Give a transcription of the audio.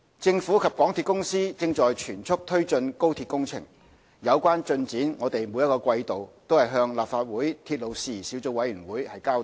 政府及香港鐵路有限公司正全速推進高鐵工程，有關進展我們每季度均向立法會鐵路事宜小組委員會交代。